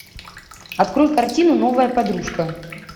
открой картину новая подружка